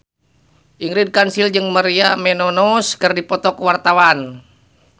Ingrid Kansil jeung Maria Menounos keur dipoto ku wartawan